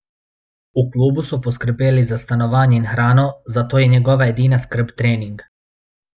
V klubu so poskrbeli za stanovanje in hrano, zato je njegova edina skrb trening.